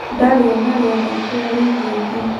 Ndarĩ onarĩ athakĩra rigi ĩngĩ.